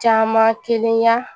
Caman kelen ya